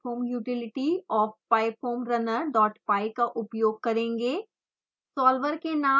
अब हम pyfoam utility of pyfoamrunnerpy का उपयोग करेंगे